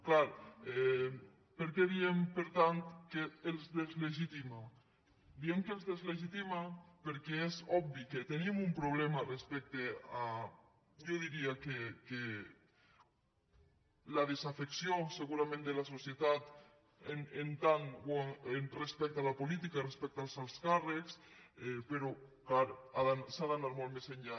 clar per què diem per tant que els deslegitima diem que els deslegitima perquè és obvi que tenim un problema respecte a jo diria que la desafecció segurament de la societat respecte a la política respecte als alts càrrecs però clar s’ha d’anar molt més enllà